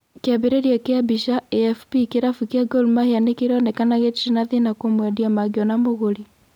Kĩambĩrĩria kĩa mbica, AFP kĩrabũ kĩa Gor mahĩa nĩkĩronekana gĩtĩri na thina kũmwendia mangĩona mũgũri.